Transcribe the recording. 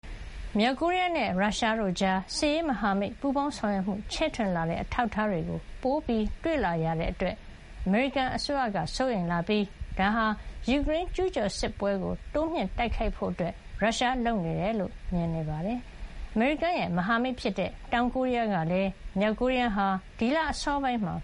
မြောက်ကိုရီးယားနဲ့ ရုရှားတို့ကြား စစ်ရေးမဟာမိတ် ပူးပေါင်းဆောင်ရွက်မှု ချဲ့ထွင်လာတဲ့ အထောက်အထားတွေ ပိုတွေ့လာရတာအတွက် အမေရိကန်က စိုးရိမ်လာပြီး ဒါဟာ ယူကရိန်းကျူးကျော်စစ်ပွဲကို တိုးမြှင့်တိုက်ခိုက်ဖို့ ရုရှားက လုပ်နေတယ်လို့လည်း မြင်ပါတယ်။ အမေရိကန်ရဲ့ မဟာမိတ်ဖြစ်တဲ့ တောင်ကိုရီးယားကလည်း မြောက်ကိုရီးယားဟာ ဒီလ အစောပိုင်းမှာ